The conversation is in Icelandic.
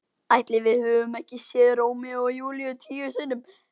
Ætli við höfum ekki séð Rómeó og Júlíu tíu sinnum?